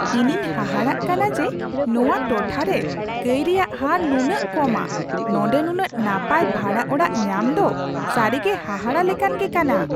ᱤᱧᱤᱧ ᱦᱟᱦᱟᱲᱟᱜ ᱠᱟᱱᱟ ᱡᱮ ᱱᱚᱶᱟ ᱴᱚᱴᱷᱟ ᱨᱮ ᱠᱟᱹᱭ ᱨᱮᱭᱟᱜ ᱦᱟᱨ ᱱᱩᱱᱟᱹᱜ ᱠᱚᱢᱟ ! ᱱᱚᱸᱰᱮ ᱱᱩᱱᱟᱹᱜ ᱱᱟᱯᱟᱭ ᱵᱷᱟᱲᱟ ᱚᱲᱟᱜ ᱧᱟᱢ ᱫᱚ ᱥᱟᱹᱨᱤᱜᱮ ᱦᱟᱦᱟᱲᱟ ᱞᱮᱠᱟᱱ ᱜᱮ ᱠᱟᱱᱟ ᱾